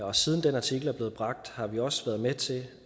og siden den artikel er blevet bragt har vi også været med til